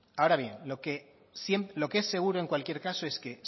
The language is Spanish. ahora bien lo que es seguro en cualquier caso es que